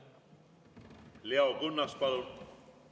Leo Kunnas, palun!